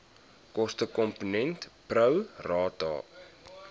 kostekomponent pro rata